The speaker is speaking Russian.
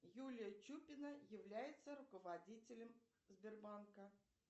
юлия чупина является руководителем сбербанка